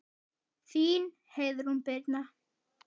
Þín Heiðrún Birna.